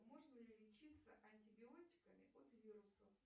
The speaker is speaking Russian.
можно ли лечиться антибиотиками от вирусов